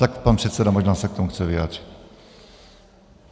Tak pan předseda možná se k tomu chce vyjádřit.